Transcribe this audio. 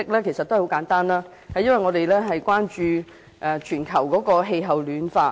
原因很簡單，因為我們關注全球暖化的問題。